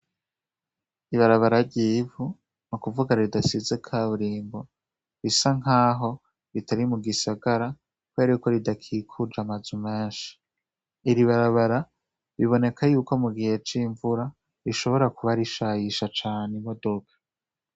Ibarabara ryivu mu kuvugaa ridasize ka burimbo bisa nk'aho bitari mu gisagara ko yari uko ridakikuje amazu menshi iribarabara biboneka yuko mu gihe c'imvura rishobora kuba arishayisha cane imodoka.